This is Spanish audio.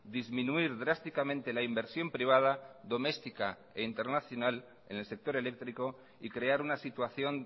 disminuir drásticamente la inversión privada doméstica e internacional en el sector eléctrico y crear una situación